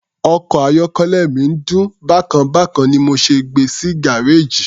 Ọkọ̀ ayọ́kẹ́lẹ́ mi ń dún bákan bákan ni mo ṣe gbe sí gárèjì.